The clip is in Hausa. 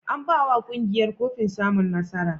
An ba wa ƙungiyar kofin samun nasara?